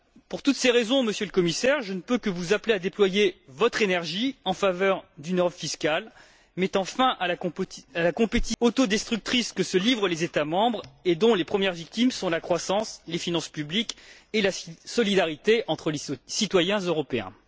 Pour toutes ces raisons, Monsieur le Commissaire, je ne peux que vous appeler à déployer votre énergie en faveur d'une Europe fiscale, afin de mettre un terme à la concurrence autodestructrice que se livrent les États membres et dont les premières victimes sont la croissance, les finances publiques et la solidarité entre les citoyens européens.